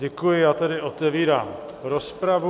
Děkuji, já tedy otevírám rozpravu.